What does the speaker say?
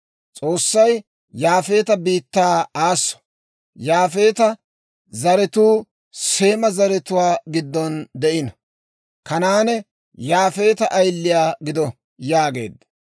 S'oossay Yaafeeta biittaa aasso. Yaafeeta zaratuu Seema zaratuwaa giddon de'ino; Kanaane Yaafeeta ayiliyaa gido» yaageedda.